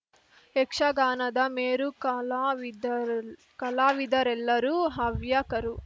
ಯಕ್ಷಗಾನದ ಮೇರು ಕಲಾವಿದ ಕಲಾವಿದರೆಲ್ಲರೂ ಹವ್ಯಕರು